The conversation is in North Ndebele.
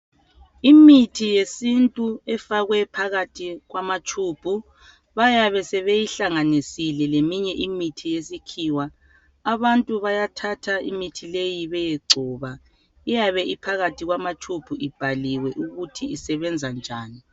Imithi yesintu efakwe phakathi kwama tshubhu. Bayabe sebeyihlanganisile leminye imithi yesikhiwa. Abantu bayathatha imithi leyi beyegcoba. Iyabe iphakathi kwamatshubhu ibhaliwe ukuthi isebenza njani.